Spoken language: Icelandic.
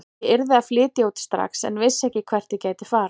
Ég yrði að flytja út strax en vissi ekki hvert ég gæti farið.